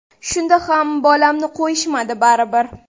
Shunda ham bolamni qo‘yishmadi baribir.